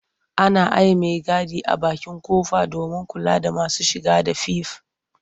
Ana aiye maigadi a bakin ƙofa domin kula da masu shige da five.